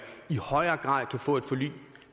i højere grad kan få et forlig